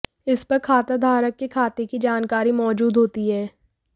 इस पर खाता धारक के खाते की जानकारी मौजूद होती है